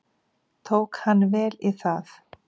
Tók hann vel í það.